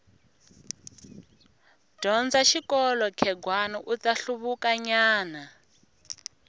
dyondza xikolo khegwani uta hluvuka nyana